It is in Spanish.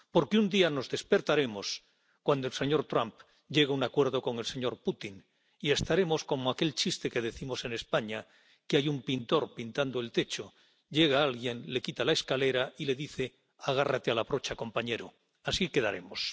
porque un día nos despertaremos cuando el señor Trump llegue a un acuerdo con el señor Putin y estaremos como aquel chiste que decimos en España que hay un pintor pintando el techo, llega alguien, le quita la escalera y le dice agárrate a la brocha, compañero así quedaremos.